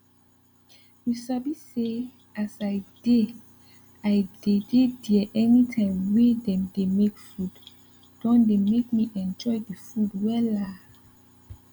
you sabi say as i dey i dey dey there anytime wey dem dey make food don dey make me enjoy the food wella